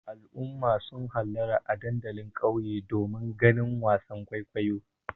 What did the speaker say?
Al'ummar sun hallara a dandalin ƙauye domin ganin wasan kwaikwayon.